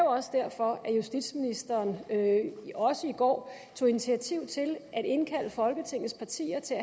også derfor at justitsministeren også i går tog initiativ til at indkalde folketingets partier til